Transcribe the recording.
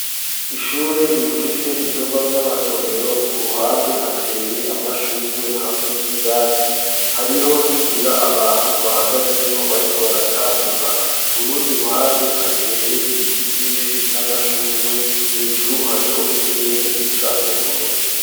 Ishure, rifise ivyumba vy'amasomero; ku ruhande, hateye amashurwe, hamwe n'ivyatsi; hariho n'inzira, abantu bahagazemwo, bariko baratambuka; ku rundi ruhande, hateye ibiti vyinshi, n'amashurwe; hejuru, hariho ikirere, gisa n'ubururu.